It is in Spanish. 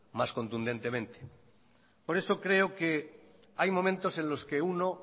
más contundentemente por eso creo que hay momentos en los que uno